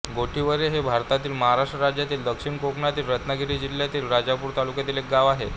गोठिवरे हे भारतातील महाराष्ट्र राज्यातील दक्षिण कोकणातील रत्नागिरी जिल्ह्यातील राजापूर तालुक्यातील एक गाव आहे